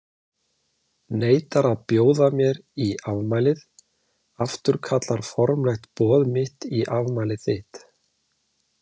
Neitar að bjóða mér í afmælið, afturkallar formlegt boð mitt í afmælið þitt.